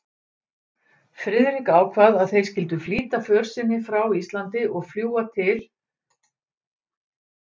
Friðrik ákvað að þeir skyldu flýta för sinni frá Íslandi og fljúga til